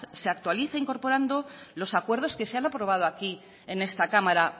se actualiza incorporando los acuerdos que se han aprobado aquí en esta cámara